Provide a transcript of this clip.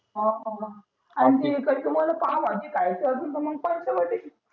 हां आणि ती इकडची पाव भाजी खायची असेल तर मग पंचवटी